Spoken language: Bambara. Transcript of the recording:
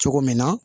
Cogo min na